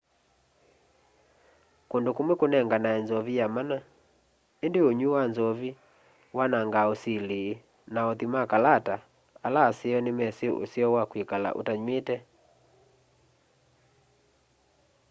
kundu kumwi kunenganae nzovi ya mana indi unywi wa nzovi wanangaa usili na othi ma kalata ala aseo ni mesi useo wa kwikala utanywite